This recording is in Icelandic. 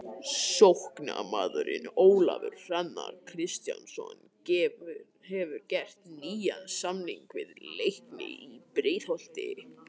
Sóknarmaðurinn Ólafur Hrannar Kristjánsson hefur gert nýjan samning við Leikni í Breiðholti.